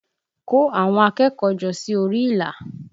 Kó àwọn akẹ́kọ̀ọ́ jọ sí orí ìlà!